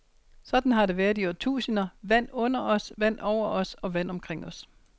Sådan har det været i årtusinder, vand under os, vand over os, og vand omkring os.